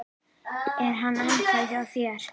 Er hann ennþá hjá þér?